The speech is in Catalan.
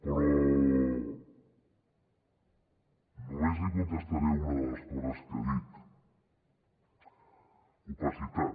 però només li contestaré a una de les coses que ha dit opacitat